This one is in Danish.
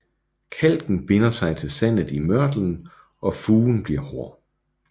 Kalken binder sig til sandet i mørtlen og fugen bliver hård